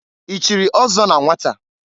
I chiri ọzọ na nwata?